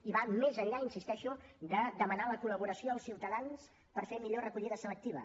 i va més enllà hi insisteixo de demanar la col·laboració als ciutadans per fer millor recollida selectiva